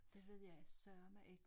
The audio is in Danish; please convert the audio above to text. Det ved jeg sørme ik